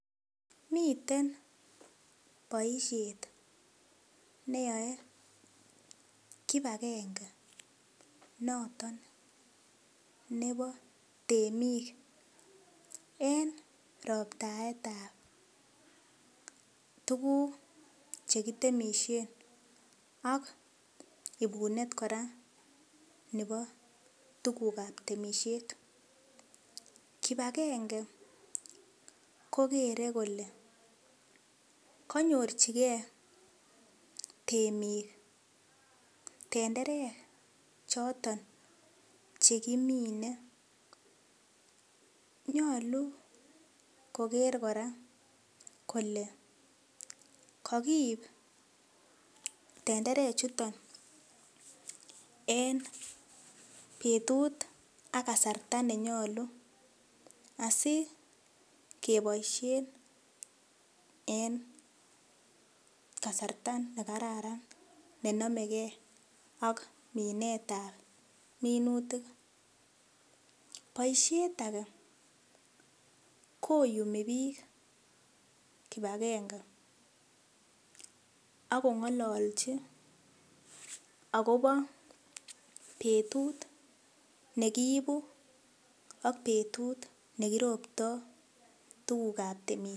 Miten boisiet neyoe kipakennge noton nebo temik en roptaetab tuguk chekitemisien ak iibunet kora nebo tugukab temisiet kipakenge koker kora kole kanyorchike temik tenderek choton chekimine nyolu koker kora kole kokiib tenderechuton en betut ak kasarta nenyolu asikeboisien en kasarta nekararan nenomegee ak minetab minutik. Boisiet ake koyumii biik kipakenge akong'olochi akobo betut nekiibu ak betut nekiroptoo tugukab temisiet.